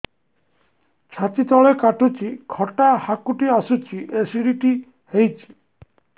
ଛାତି ତଳେ କାଟୁଚି ଖଟା ହାକୁଟି ଆସୁଚି ଏସିଡିଟି ହେଇଚି